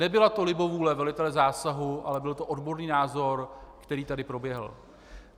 Nebyla to libovůle velitele zásahu, ale byl to odborný názor, který tady proběhl.